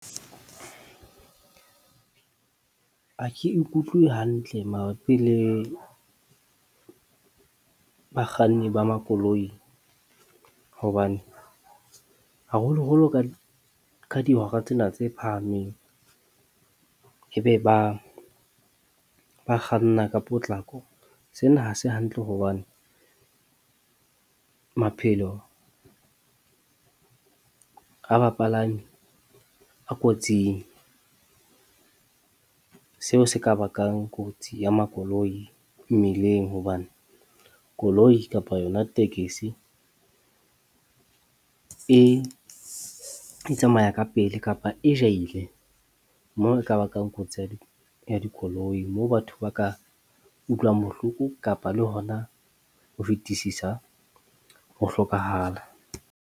Ha ke ikutlwe hantle mabapi le bakganni ba makoloi hobane haholoholo ka ka dihora tsena tse phahameng, ebe ba ba kganna ka potlako. Sena ha se hantle hobane maphelo a bapalami a kotsing, seo se ka bakang kotsi ya makoloi mmileng hobane koloi kapa yona tekesi, e tsamaya ka pele kapa e jahile moo e ka bakang kotsi ya dikoloi. Moo batho ba ka utlwang bohloko kapa le hona ho fetisisa, ho hlokahala.